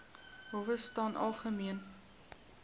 howe staan algemeen